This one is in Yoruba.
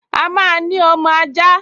A máa ní ọmọ ajá